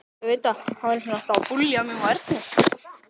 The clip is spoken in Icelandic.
Gíta, ekki fórstu með þeim?